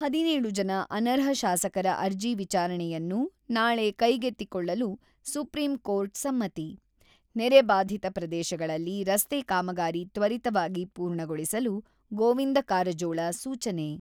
ಹದಿನೇಳು ಜನ ಅನರ್ಹ ಶಾಸಕರ ಅರ್ಜಿ ವಿಚಾರಣೆಯನ್ನು ನಾಳೆ ಕೈಗೆತ್ತಿಕೊಳ್ಳಲು ಸುಪ್ರೀಂ ಕೋರ್ಟ್ ಸಮ್ಮತಿ ನೆರೆ ಬಾಧಿತ ಪ್ರದೇಶಗಳಲ್ಲಿ ರಸ್ತೆ ಕಾಮಗಾರಿ ತ್ವರಿತವಾಗಿ ಪೂರ್ಣಗೊಳಿಸಲು ಗೋವಿಂದ ಕಾರಜೋಳ, ಸೂಚನೆ.